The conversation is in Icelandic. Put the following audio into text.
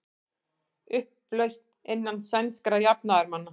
Upplausn innan sænskra jafnaðarmanna